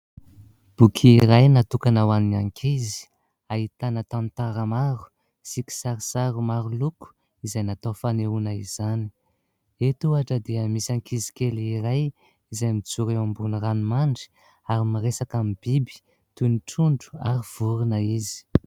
Boky iray natokana ho an'ny ankizy ahitana tantara maro sy kisarisary maro loko izay natao fanehoana izany. Eto ohatra dia misy ankizy kely iray izay mijoro eo ambony ranomandry ary miresaka amin'ny biby toy ny trondro ary vorona izy.